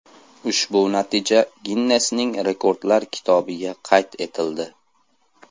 Ushbu natija Ginnesning Rekordlar kitobiga qayd etildi.